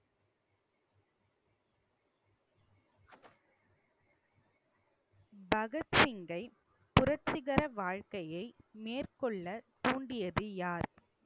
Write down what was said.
பகத்சிங்கை புரட்சிகர வாழ்க்கைய மேற்கொள்ள தூண்டியது யார்